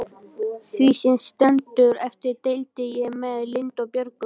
Því sem var eftir deildi ég með Lindu og Björgu.